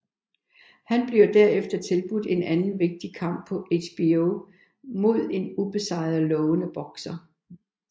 Han bliver derefter tilbudt en anden vigtig kamp på HBO mod en ubesejret lovende bokser